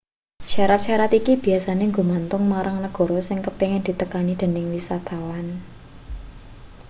syarat-syarat iki biyasane gumantung marang negara sing kepingin ditekani dening wisatawan